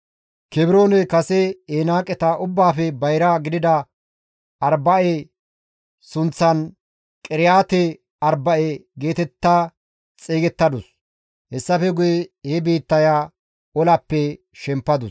Kebrooney kase Enaaqeta ubbaafe bayra gidida Arba7e sunththan Qiriyaate-Arba7e geetetta xeygettadus. Hessafe guye he biittaya olappe shempadus.